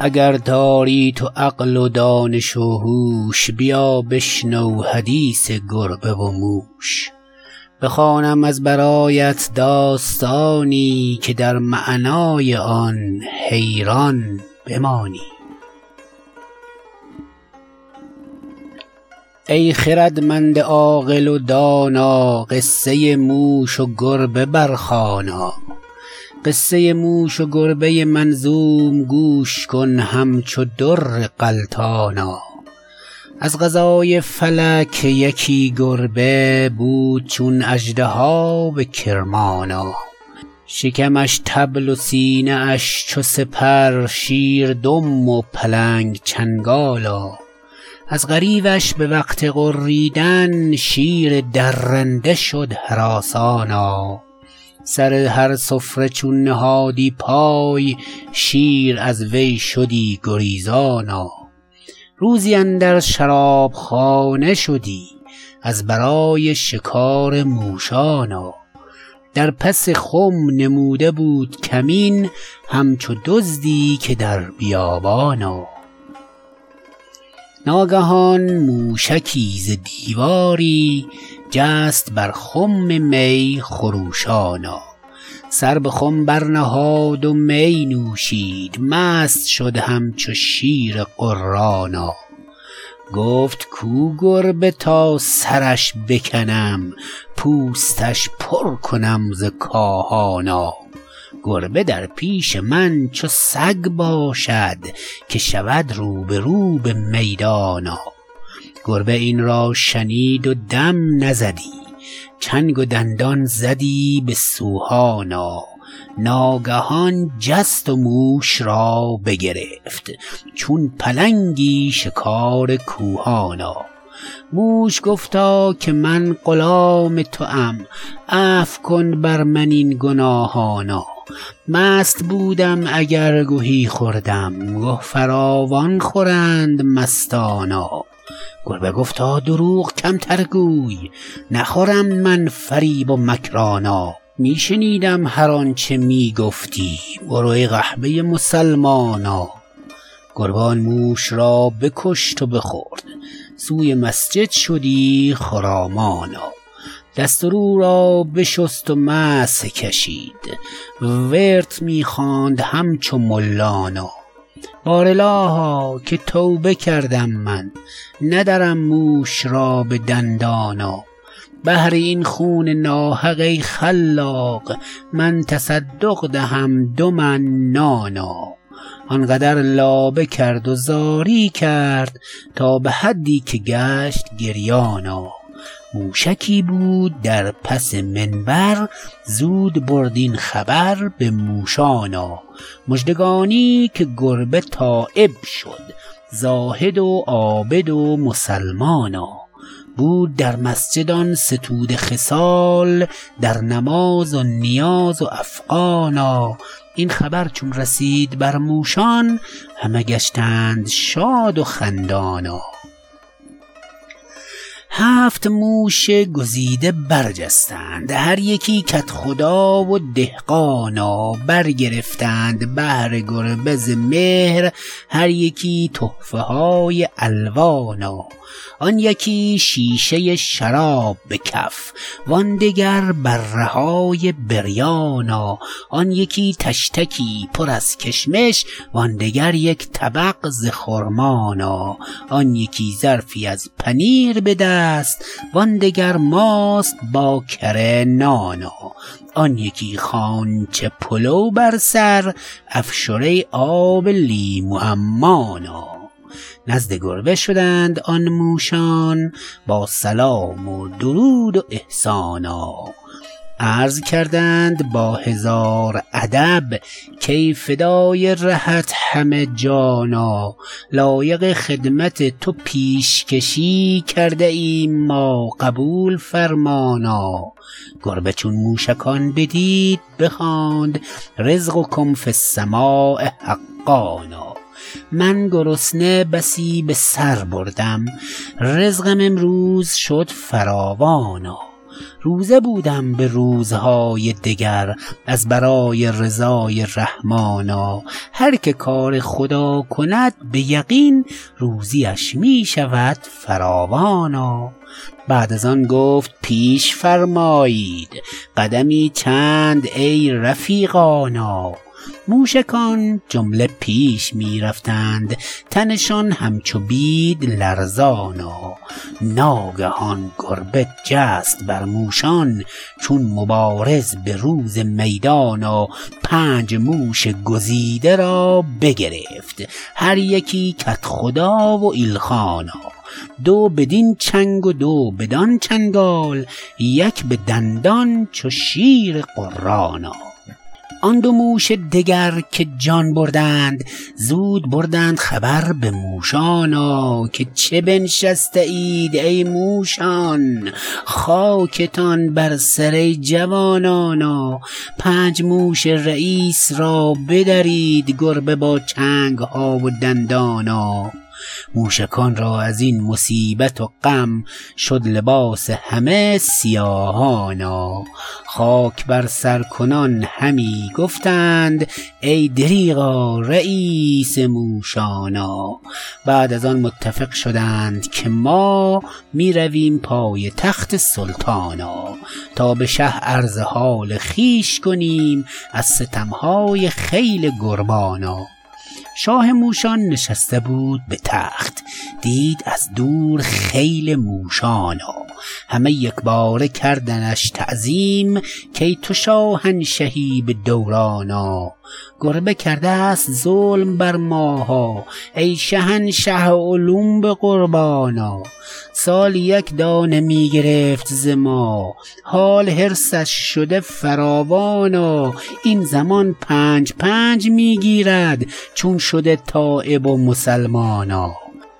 اگر داری تو عقل و دانش و هوش بیا بشنو حدیث گربه و موش بخوانم از برایت داستانی که در معنای آن حیران بمانی ای خردمند عاقل و دانا قصه موش و گربه برخوانا قصه موش و گربه منظوم گوش کن همچو در غلتانا از قضای فلک یکی گربه بود چون اژدها به کرمانا شکمش طبل و سینه اش چو سپر شیر دم و پلنگ چنگانا از غریوش به وقت غریدن شیر درنده شد هراسانا سر هر سفره چون نهادی پای شیر از وی شدی گریزانا روزی اندر شرابخانه شدی از برای شکار موشانا در پس خم نموده بود کمین همچو دزدی که در بیابانا ناگهان موشکی ز دیواری جست بر خم می خروشانا سر به خم برنهاد و می نوشید مست شد همچو شیر غرانا گفت کو گربه تا سرش بکنم پوستش پر کنم ز کاهانا گربه در پیش من چو سگ باشد که شود روبرو به میدانا گربه این را شنید و دم نزدی چنگ و دندان زدی به سوهانا ناگهان جست و موش را بگرفت چون پلنگی شکار کوهانا موش گفتا که من غلام توام عفو کن بر من این گناهانا مست بودم اگر گهی خوردم گه فراوان خورند مستانا گربه گفتا دروغ کمتر گوی نخورم من فریب و مکرانا می شنیدم هرآنچه می گفتی آروادین قحبه مسلمانا گربه آن موش را بکشت و بخورد سوی مسجد شدی خرامانا دست و رو را بشست و مسح کشید ورد می خواند همچو ملانا بار الها که توبه کردم من ندرم موش را به دندانا بهر این خون ناحق ای خلاق من تصدق دهم دو من نانا آنقدر لابه کرد و زاری کرد تا به حدی که گشت گریانا موشکی بود در پس منبر زود برد این خبر به موشانا مژدگانی که گربه تایب شد زاهد و عابد و مسلمانا بود در مسجد آن ستوده خصال در نماز و نیاز و افغانا این خبر چون رسید بر موشان همه گشتند شاد و خندانا هفت موش گزیده برجستند هر یکی کدخدا و دهقانا برگرفتند بهر گربه ز مهر هر یکی تحفه های الوانا آن یکی شیشه شراب به کف وان دگر بره های بریانا آن یکی طشتکی پر از کشمش وان دگر یک طبق ز خرمانا آن یکی ظرفی از پنیر به دست وان دگر ماست با کره نانا آن یکی خوانچه پلو بر سر افشره آب لیمو عمانا نزد گربه شدند آن موشان با سلام و درود و احسانا عرض کردند با هزار ادب کای فدای رهت همه جانا لایق خدمت تو پیشکشی کرده ایم ما قبول فرمانا گربه چون موشکان بدید بخواند رزقکم فی السماء حقانا من گرسنه بسی به سر بردم رزقم امروز شد فراوانا روزه بودم به روزهای دگر از برای رضای رحمانا هرکه کار خدا کند به یقین روزی اش می شود فراوانا بعد از آن گفت پیش فرمایید قدمی چند ای رفیقانا موشکان جمله پیش می رفتند تنشان همچو بید لرزانا ناگهان گربه جست بر موشان چون مبارز به روز میدانا پنج موش گزیده را بگرفت هر یکی کدخدا و ایلخانا دو بدین چنگ و دو بدانچنگال یک به دندان چو شیر غرانا آن دو موش دگر که جان بردند زود بردند خبر به موشانا که چه بنشسته اید ای موشان خاکتان بر سر ای جوانانا پنج موش رییس را بدرید گربه با چنگ ها و دندانا موشکان را از این مصیبت و غم شد لباس همه سیاهانا خاک بر سر کنان همی گفتند ای دریغا رییس موشانا بعد از آن متفق شدند که ما می رویم پای تخت سلطانا تا به شه عرض حال خویش کنیم از ستم های خیل گربانا شاه موشان نشسته بود به تخت دید از دور خیل موشانا همه یکباره کردنش تعظیم کای تو شاهنشهی به دورانا گربه کرده است ظلم بر ماها ای شهنشه اولوم به قربانا سالی یک دانه می گرفت از ما حال حرصش شده فراوانا این زمان پنج پنج می گیرد چون شده تایب و مسلمانا